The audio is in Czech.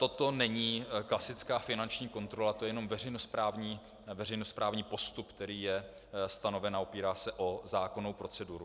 Toto není klasická finanční kontrola, to je jenom veřejnosprávní postup, který je stanoven a opírá se o zákonnou proceduru.